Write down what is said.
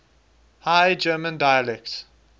high german dialects